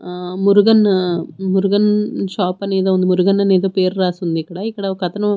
ఆ మురుగన్న మురుగన్ షాప్ అని ఏదో ఉంది మురుగన్ అని ఏదో పేరు రాసి ఉంది ఇక్కడ ఇక్కడ ఒకతను.